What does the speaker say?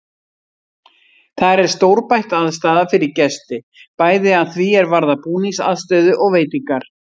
Þar er stórbætt aðstaða fyrir gesti, bæði að því er varðar búningsaðstöðu og veitingar.